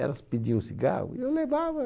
Elas pediam cigarro e eu levava.